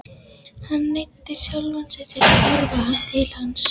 Hann neyddi sjálfan sig til að horfa til hafs.